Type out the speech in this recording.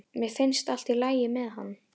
Mér finnst allt í lagi með hann.